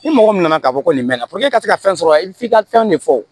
Ni mɔgɔ min nana k'a fɔ ko nin bɛ na puruke i ka se ka fɛn sɔrɔ f'i ka fɛn de fɔ wo